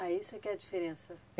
Ah, isso que é a diferença.